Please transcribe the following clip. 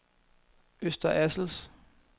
Øster Assels